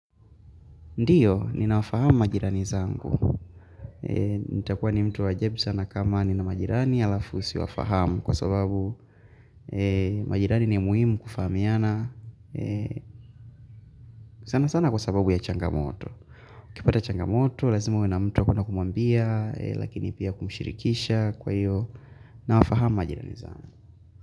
Ndiyo, ninawafahamu majirani zangu. Nitakuwa ni mtu wa ajabu sana kama nina majirani alafu siwafahamu kwa sababu majirani ni muhimu kufahamiana sana sana kwa sababu ya changamoto. Kipata changamoto, lazima uwe na mtu wa kwenda kumwambia, lakini pia kumshirikisha kwa hiyo, nawafahamu majirani zangu.